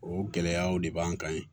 O gɛlɛyaw de b'an kan yen